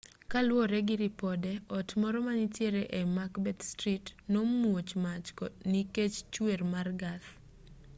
kaluwore gi ripode ot moro manitiere e macbeth street nomuoch mach nikech chuer mar gas